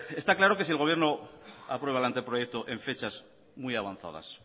está claro que si el gobierno aprueba el anteproyecto en fechas muy avanzadas